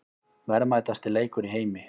Verðmætasti leikur í heimi